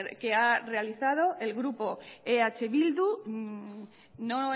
que ha realizado el grupo eh bildu no